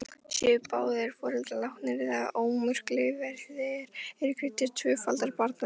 Séu báðir foreldrar látnir eða örorkulífeyrisþegar, er greiddur tvöfaldur barnalífeyrir.